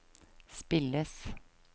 spilles